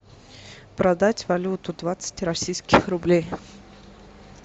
продать валюту двадцать российских рублей